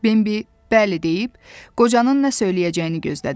Bembi bəli deyib qocanın nə söyləyəcəyini gözlədi.